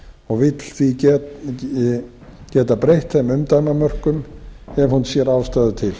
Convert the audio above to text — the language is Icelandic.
og vill geta breytt þeim umdæmamörkum ef hún sér ástæðu til